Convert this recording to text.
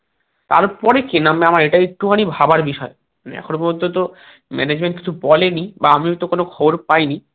তার পরে কে নামবে আমার একটু খানি ভাবার বিষয় এখনো পর্যন্ত তো management কিছু বলেনি বা আমিওতো কোনো খবর পাইনি